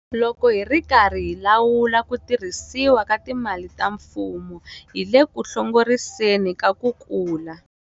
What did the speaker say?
Loko hi ri karhi hi lawula ku tirhisiwa ka timali ka mfumo, hi le ku hlongoriseni ka ku kula.